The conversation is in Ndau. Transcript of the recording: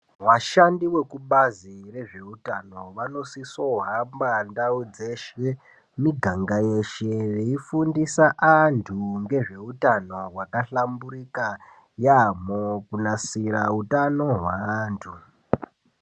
Vashandi vekubazi rezveutano vanosisohamba ndau dzeshe miganga yeshe veifundisa antu ngezveutano hwakahlamburika yaamho kunasira utano hweantu.